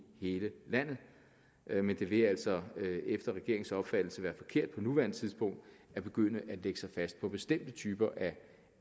hele landet men det vil altså efter regeringens opfattelse være forkert på nuværende tidspunkt at begynde at lægge sig fast på bestemte typer af